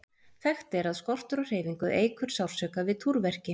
Þekkt er að skortur á hreyfingu eykur sársauka við túrverki.